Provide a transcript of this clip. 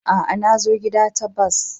Aa, na zo gida ta bas.